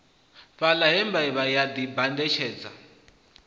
fhaḽa he mbevha ya ḓibandutshedza